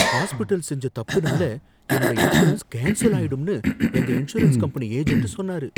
Hospital செஞ்ச தப்புனால என்னோட இன்சூரன்ஸ் கேன்சல் ஆயிடும்னு எங்க இன்சூரன்ஸ் கம்பெனி ஏஜெண்ட் சொன்னாரு.